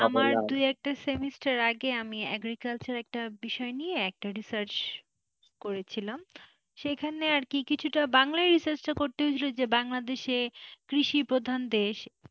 দু একটা semester এর আগে আমি agriculture একটা বিষয় নিয়ে একটা research করেছিলাম সেখানে আর কি কিছুটা বাংলায় research টা করতে হয়েছিল যে বাংলাদেশে কৃষি প্রধান দেশ,